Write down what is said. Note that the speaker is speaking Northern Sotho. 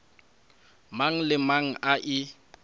mang le mang a e